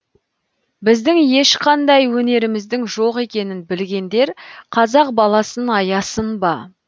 біздің ешқандай өнеріміздің жоқ екенін білгендер қазақ баласын аясын ба